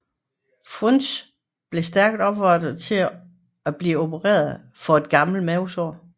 Frunze blev stærkt opfordret til at blive opereret for et gammelt mavesår